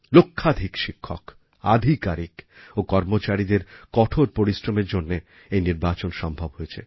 লক্ষাধিক শিক্ষক আধিকারিক ও কর্মচারিদের কঠোর পরিশ্রমের জন্য এই নির্বাচন সম্ভব হয়েছে